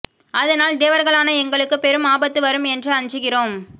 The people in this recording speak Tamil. அதனால் தேவர்களான எங்களுக்கு பெரும் ஆபத்து வரும் என்று அஞ்சுகிறோம்